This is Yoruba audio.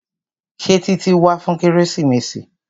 Ṣé Títí wá fún kérésìmesì?